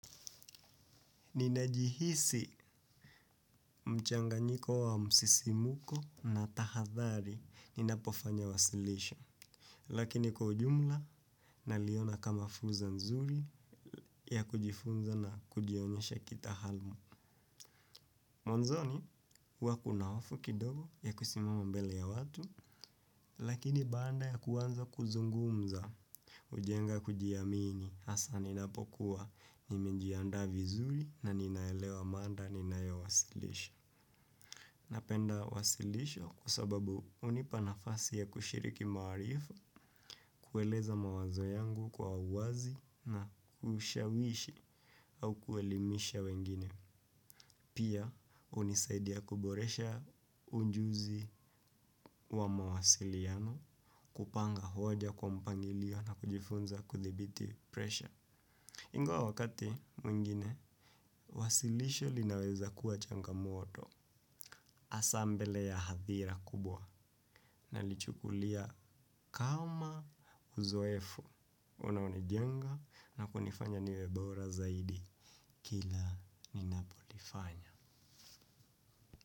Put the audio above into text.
Ninajihisi mchanganyiko wa msisimko na tahadhari ninapofanya wasilisho. Lakini kwa ujumla, naliona kama fursa nzuri ya kujifunza na kujionyesha kitaaluma. Mwanzoni huwa kuna hofu kidogo ya kusimama mbele ya watu. Lakini baada ya kuanza kuzungumza, hujenga kujiamini hasaa ninapokuwa nimenjiandaa vizuri na ninaelewa mada ninayowasilisha. Napenda wasilisho kwa sababu hunipa nafasi ya kushiriki maarifa, kueleza mawazo yangu kwa uwazi na kushawishi au kuelimisha wengine. Pia hunisaidia kuboresha ujuzi wa mawasiliano, kupanga hoja kwa mpangilio na kujifunza kudhibiti presha. Ingwa wakati mwingine, wasilisho linaweza kuwa changamoto, hasaa mbele ya hadhira kubwa, nalichukulia kama uzoefu unaonijenga na kunifanya niwe bora zaidi, kila ninapolifanya.